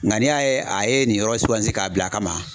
Nka n'i y'a ye a ye nin yɔrɔ sugasi k'a bila a kama.